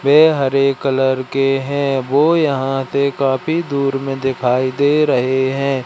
वे हरे कलर के हैं वो यहां से काफी दूर में दिखाई दे रहे हैं।